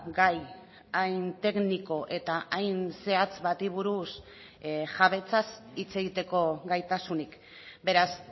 gai hain tekniko eta hain zehatz bati buruz jabetzaz hitz egiteko gaitasunik beraz